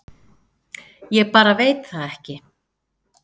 Ég bara veit það ekki